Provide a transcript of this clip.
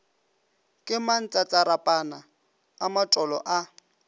ke mantsatsarapana a matolo a